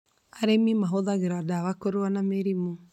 Arĩmi mahũthagĩra ndawa kũrũa na mĩrimũ